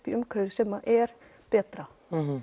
í umhverfi sem er betra